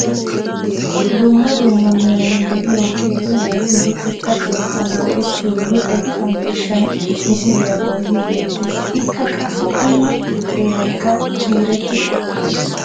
Dumma dumma meray de'iyo qeeri naati luxetta keettan go"ettiyo luxetta miishshay misoliyaa bolli neettees. Ikka qassi unna xeeraykka ciireti uttios.